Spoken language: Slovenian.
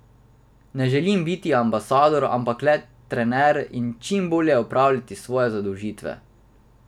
Ne želim biti ambasador, ampak le trener in čim bolje opravljati svoje zadolžitve.